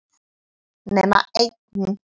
Nema einn.